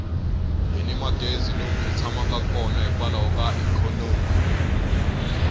hini magezi lomu hi tshamaka kona hikwalaho ka ikhonomi